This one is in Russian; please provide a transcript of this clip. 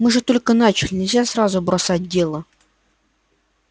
мы же только начали нельзя сразу бросать дело